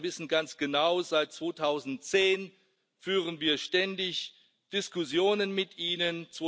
Herr Orbán, Sie wissen ganz genau Seit 2010 führen wir ständig Diskussionen mit Ihnen.